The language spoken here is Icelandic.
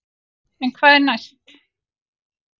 En hvað er næst?